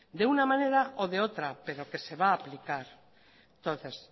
de una manera o de otra pero que se va aplicar entonces